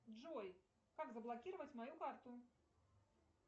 джой как заблокировать мою карту